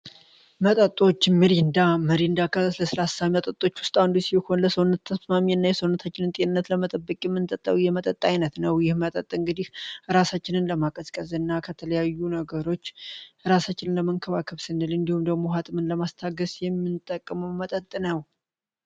መጠጦች ምሪንዳ ምሪንዳ ከለስላሳ መጠጦች ውስጥ አንዱ ሲሆን ለሰውነት ተስማሚ እና የሰውነታችንን ጤንነት ለመጠብቂ የምንጠጣዊ የመጠጥ አይነት ነው። ይህ መጠጥ እንግዲህ እራሳችንን ለማቀዝቀዝ እና ከተለያዩ ነገሮች እራሳችንን ለመንክባከብ ስንል እንዲሁም ደግሞ ሀመምን ለማስታገስ የሚንጠቅሙ መጠጥ ነው።